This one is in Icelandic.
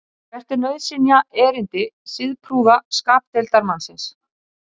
hvert er nauðsynjaerindi siðprúða skapdeildarmannsins